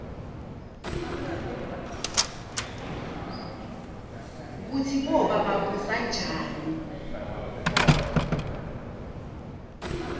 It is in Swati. kutsi boba babusanjani